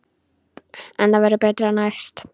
En það verður betra næst.